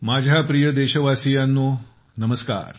माझ्या प्रिय देशवासियांनो नमस्कार